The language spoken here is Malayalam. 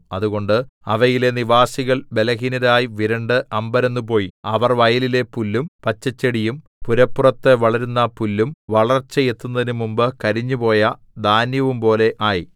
അതുകൊണ്ട് അവയിലെ നിവാസികൾ ബലഹീനരായി വിരണ്ട് അമ്പരന്നുപോയി അവർ വയലിലെ പുല്ലും പച്ചച്ചെടിയും പുരപ്പുറത്തു വളരുന്ന പുല്ലും വളർച്ചയെത്തുന്നതിന് മുമ്പ് കരിഞ്ഞുപോയ ധാന്യവുംപോലെ ആയി